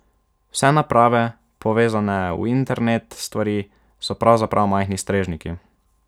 Vse naprave, povezane v internet stvari, so pravzaprav majhni strežniki.